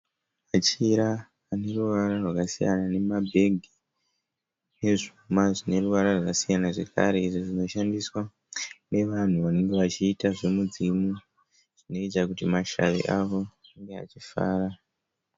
Machira aneruvara rwakasiyana ,nema bhegi ezvuma zvineruvara rwakasiyana zvekare, izvo zvinoshandiswa nevanhu vanenge vachiita zvemudzimu zvinoita kuti mashavi avo ave achifara.